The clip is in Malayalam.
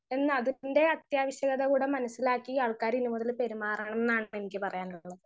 സ്പീക്കർ 1 എന്ന് അതിപ്പിന്റെ അത്യാവിശ്യത കൂടെ മനസിലാക്കി ആള്ക്കാര് ഇനിമുതൽ പെരുമാറണമെന്നാണ് എന്നിക്ക് പറയാനുള്ളത്.